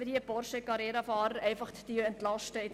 Liebe Bürgerliche, überlegen Sie gut.